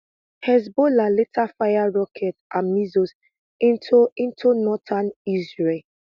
hezbollah later fire rockets and missiles into into northern israel